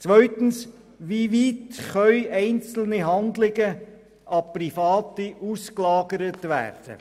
Zweitens, wie weit können einzelne Handlungen an Private ausgelagert werden?